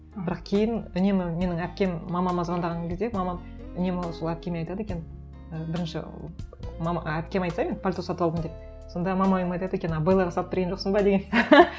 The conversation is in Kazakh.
бірақ кейін үнемі менің әпкем мамама звондаған кезде мамам үнемі сол әпкеме айтады екен і бірінші әпкем айтса мен пальто сатып алдым деп сонда мамам айтады екен а беллаға сатып берген жоқсың ба деген